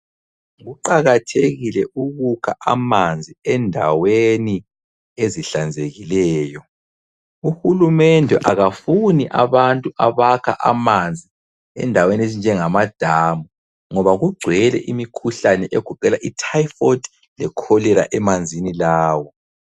Kuqakathekile ukukha amanzi endaweni ezihlanzekileyo. Uhulumende akafuni abantu abakha amanzi endaweni ezinjangamadamu, ngoba kugcwele imikhuhlane egoqela ityphoid lecholera emanzini lawo.